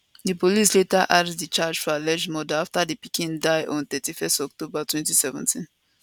di police later add di charge for alleged murder afta di pikin die on 31 october 2017